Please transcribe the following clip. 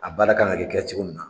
A baara kan ka kɛ cɛcogo min na